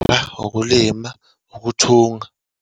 La, ukulima, ukuthunga.